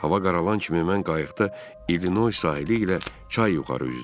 Hava qaralan kimi mən qayıqda İllinoy sahili ilə çay yuxarı üzdüm.